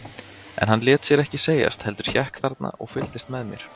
En hann lét sér ekki segjast, heldur hékk þarna og fylgdist með mér.